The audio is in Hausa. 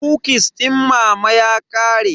Kukis din mama ya ƙare.